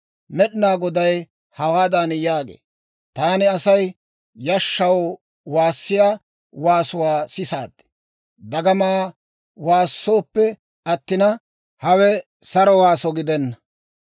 Med'inaa Goday hawaadan yaagee; «Taani Asay yashshaw waassiyaa waasuwaa sisaad; dagama waasoppe attina, hawe saro waaso gidenna.